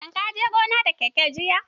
Shin ka je gona da keke jiya?